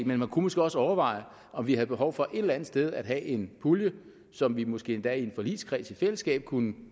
men man kunne måske også overveje om vi har behov for et eller andet sted at have en pulje som vi måske endda i en forligskreds i fællesskab kunne